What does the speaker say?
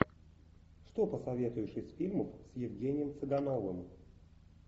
что посоветуешь из фильмов с евгением цыгановым